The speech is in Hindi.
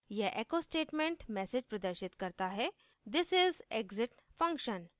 यह echo statement message प्रदर्शित करता हैः this is exit function